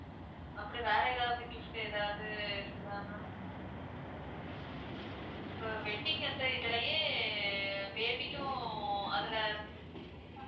அப்படி வேற ஏதாவது gift ஏதாவது இருக்குதா ma'am இப்ப wedding எந்த இதுலயே baby க்கும் அதுல